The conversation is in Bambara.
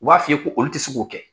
U b'a f'i ye ko olu tɛ se k'o kɛ.